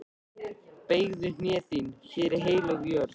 Beygðu hné þín, hér er heilög jörð.